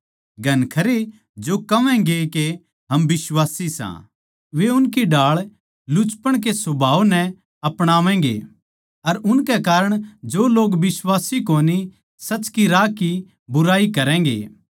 घणखरे जो कहवैगें के हम बिश्वासी सां वे उनकी ढाळ लुचपण के सुभाव नै अपणावैगे अर उनके कारण जो लोग बिश्वासी कोनी सच के राह की बुराई करैगें